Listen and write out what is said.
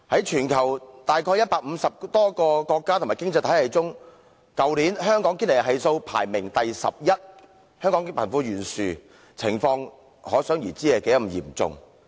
全球約150個國家及經濟體系中，去年香港的堅尼系數排名 11， 可想而知香港貧富懸殊的情況有多嚴重。